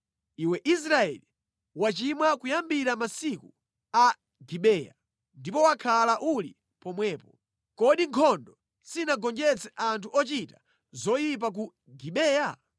“Iwe Israeli, wachimwa kuyambira mʼmasiku a Gibeya, ndipo wakhala uli pomwepo. Kodi nkhondo sinagonjetse anthu ochita zoyipa ku Gibeya?